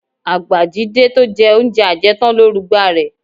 Àgbà Jídé tó jẹ oúnjẹ ajẹtán ló rugba rẹ